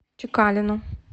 чекалину